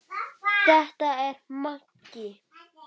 Þetta er Maggi!